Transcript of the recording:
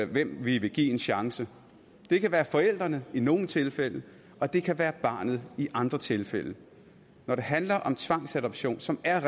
hvem vi vil give en chance det kan være forældrene i nogle tilfælde og det kan være barnet i andre tilfælde når det handler om tvangsadoption som er